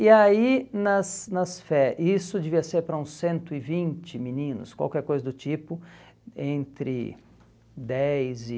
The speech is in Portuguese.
E aí, nas nas fé, isso devia ser para uns cento e vinte meninos, qualquer coisa do tipo, entre dez e